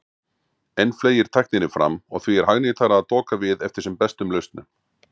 Enn fleygir tækninni fram og því er hagnýtara að doka við eftir sem bestum lausnum.